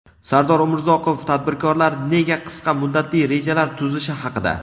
Sardor Umurzakov – tadbirkorlar nega qisqa muddatli rejalar tuzishi haqida.